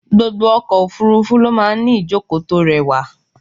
Gbogbo ọkọ̀ òfúrúfú ló máa ń ní ìjókòó tó rẹwà.